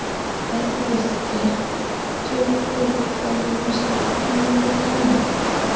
Ef þú vilt geturðu komið með stelpurnar yfir til mín.